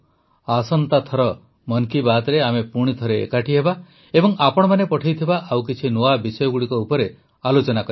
ଆସନ୍ତା ଥରେ ମନ୍ କି ବାତ୍ରେ ଆମେ ପୁଣିଥରେ ଏକାଠି ହେବା ଏବଂ ଆପଣମାନେ ପଠାଇଥିବା ଆଉ କିଛି ନୂଆ ବିଷୟଗୁଡ଼ିକ ଉପରେ ଆଲୋଚନା କରିବା